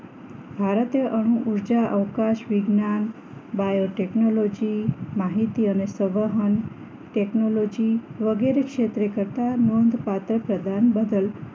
ભારતે અણુ ઉર્જા અવકાશ વિજ્ઞાન બાયોટેકનોલોજી માહિતી અને સહન ટેકનોલોજી વગેરે ક્ષેત્રે કરતાં નોંધપાત્ર પ્રદાન બદલ